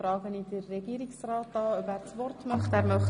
Ich frage Herrn Regierungsrat Käser, ob er das Wort wünscht.